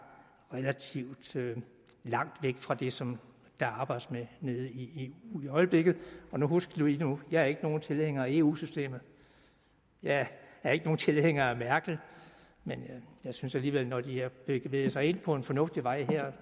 relativt langt væk fra det som der arbejdes med nede i eu i øjeblikket og husk nu jeg er ikke nogen tilhænger af eu systemet jeg er ikke nogen tilhænger af merkel men jeg synes alligevel at når de har bevæget sig ind på en fornuftig vej her